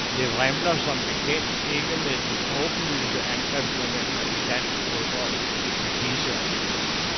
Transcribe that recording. Det vrimler som bekendt ikke med de åbenlyse angrebstalenter i dansk fodbold i disse år.